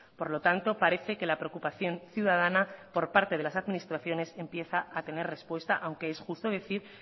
por lo tanto parece que la preocupación ciudadana por parte de las administraciones empieza a tener respuesta aunque es justo decir